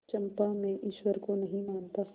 चंपा मैं ईश्वर को नहीं मानता